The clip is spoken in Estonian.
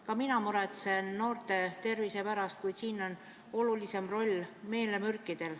Ka mina muretsen noorte tervise pärast, kuid arvan, olulisem roll on meelemürkidel.